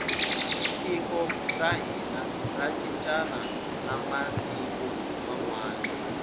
tiko ra hina ra cincana na matiku manwani